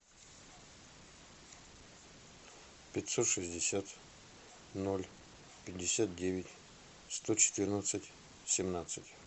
пятьсот шестьдесят ноль пятьдесят девять сто четырнадцать семнадцать